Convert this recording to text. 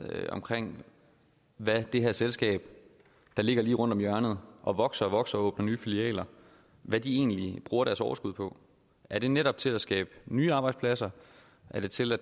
med hvad det her selskab der ligger lige rundt om hjørnet og vokser og vokser og åbner nye filialer egentlig bruger deres overskud på er det netop til at skabe nye arbejdspladser er det til at